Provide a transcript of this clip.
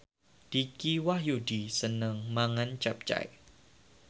Dicky Wahyudi seneng mangan capcay